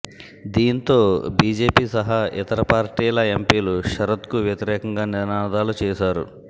దీంతో బీజేపీ సహా ఇతర పార్టీల ఎంపీలు శరద్కు వ్యతిరేకంగా నినాదాలు చేశారు